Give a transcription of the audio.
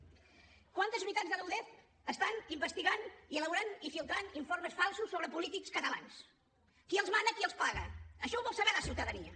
quantes unitats de la udef estan investigant i elaborant i filtrant informes falsos sobre polítics catalans qui els mana qui els paga això ho vol saber la ciutadania